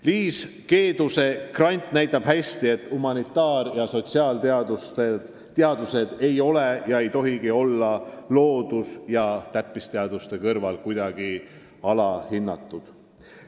Liis Keeduse grant näitab hästi, et humanitaar- ja sotsiaalteadused ei ole ega tohigi olla loodus- ja täppisteaduste kõrval kuidagi alahinnatud.